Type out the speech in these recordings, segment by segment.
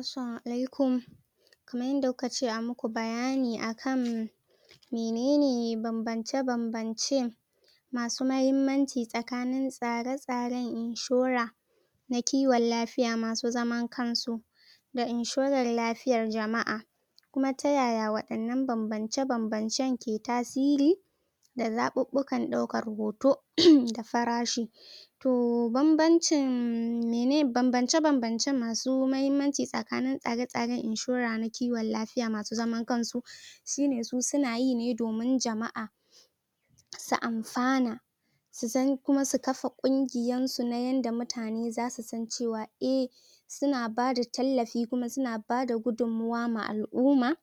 assalama alaikum kamar yanda kukace ai maku bayani akan menene bambance masu mahimmanci tsakanin tsare tsaren inshora na kiwon lafiya masu zaman kansu da inshora lafiyar jama'a kuma ta yaya wadannan bambance bambancen ke tasiri da zabubbukan daukan hoto da farashi to bambance bambance masu mahimmanci tsakanin tsare tsaren inshora ta kiwon lafiya masu zaman kansu sune su sunayine domin jama'a su amsa ne su sani kuma su kafa kungiyar su na yanda mutane zasu san cewa eh suna bada tallafi kuma suna bada gudunmuwa ma al'uma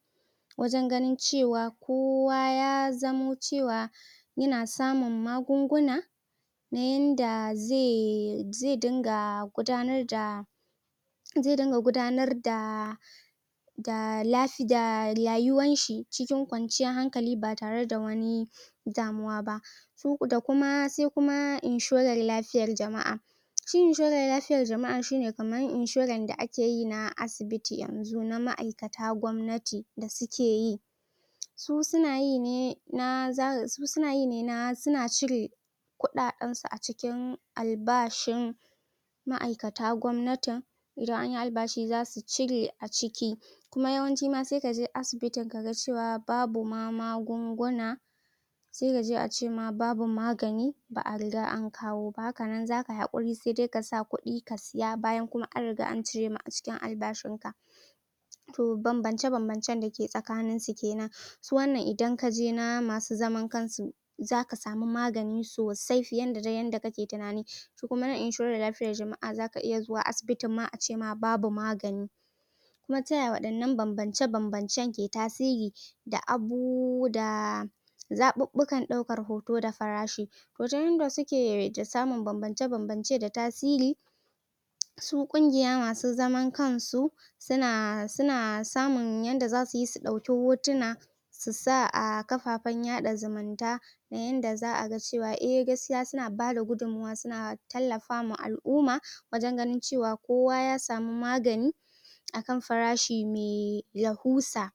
wajen ganin cewa kowa ya zamo cewa yana samun magunguna na yanda zai dinga gudanar da zai dinga gudanar da da rayuwan shi cikin kwanciyar hankali ba tare da wani damuwa ba da kuma sai kuma inshorar lafiyar jama'a shi inshorar lafiyar jama'a shine kamar inshorar da akeyi na asibiti na ma'aikatan kwamnati da sukeyi su suna yine na sunayine na suna cire kudaden su a cikin albashin ma'aikata kwamnatin idan anyi albashi zasu cire a ciki kuma yawanci ma sai kaji ana asibitin kamar cewa babu magunguna kawai za'a ce babu magani ba'a riga an kawo ba haka nan zakai hakuri sai dai kasa kudi ka saya bayan kuma an rigada an cire cikin albashin ka to bambance bambancen dake tsakanin su kenan ita wannan idan kaje na masu zaman kansu zaka samu magani sosai fiye da yarda duk kake tunani kuma inshorar lafiya jama'a zaka iya zuwa asibiti acema babu magani kuma taya wannan bambance bambancen ke tasiri da abu da zabubbukan daukar hoto da farashi wajen yarda suke ta samun bambance bambance da tasiri su kungiya masu zaman kansu tana suna samun yanda zasuyi su dauki hotuna su sa a kafafen yada zumunta kamar yanda za'a cewa eh gaskiya suna bada gudunmuwa suna tallafa ma al'uma wajen ganin cewa kowa ya samu magani akan farashi mai rahusa